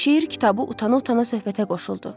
Şeir kitabı utana-utana söhbətə qoşuldu.